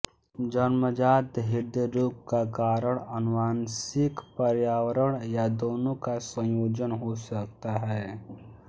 जन्मजात हृदय रोग का कारण आनुवांशिक पर्यावरण या दोनों का संयोजन हो सकता है